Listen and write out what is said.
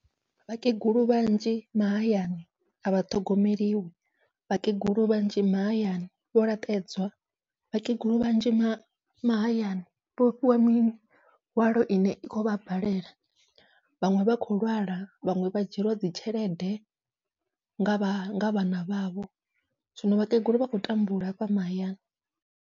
Vhakegulu vhanzhi mahayani avha ṱhogomeliwi, vhakegulu vhanzhi mahayani vho laṱedzwa, vhakegulu vhanzhi mahayani vho fhiwa mihwalo ine i kho vha balela, vhaṅwe vha khou lwala, vhaṅwe vha dzhieliwa dzi tshelede nga vha nga vhana vhavho zwino vhakegulu vha khou tambula hafha mahayani.